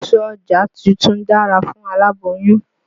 Èso ọjà tuntun dára fún aláboyún.